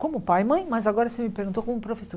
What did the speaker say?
Como pai e mãe, mas agora você me perguntou como professor.